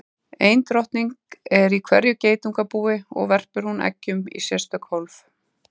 Ein drottning er í hverju geitungabúi og verpir hún eggjum í sérstök hólf.